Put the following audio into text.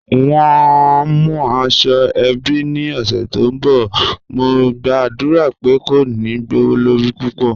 Wọ́n ń mú àṣọ-èbí ní ọṣẹ̀ tó nbọ̀, mò gba'dúra pé kò ní gbọwọ̀lọrí púpọ̀.